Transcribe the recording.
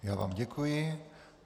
Já vám děkuji.